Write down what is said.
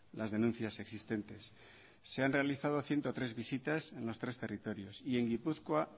las denuncias existentes se han realizado ciento tres visitas en los tres territorios y en gipuzkoa